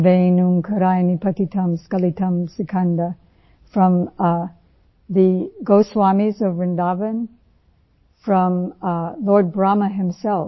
वें ओंकाराय पतितं स्क्लितं सिकंद फ्रॉम थे goswamiएस of Vrindavan from the Lord Brahma himself